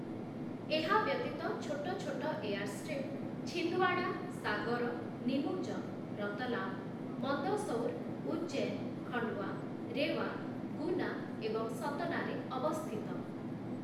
ଏହା ବ୍ୟତୀତ ଛୋଟ ଛୋଟ 'ଏୟାରଷ୍ଟ୍ରିପ୍ ଛିନ୍ଦୱାଡ଼ା', ସାଗର, ନିମୁଚ, ରତଲାମ, ମନ୍ଦସୌର, ଉଜ୍ଜୈନ, ଖଣ୍ଡୱା, ରେୱା, ଗୁନା ଏବଂ ସତନାରେ ଅବସ୍ଥିତ ।